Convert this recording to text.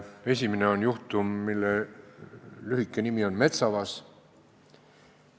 Esimene on juhtum, mille lühike nimi on Metsavas.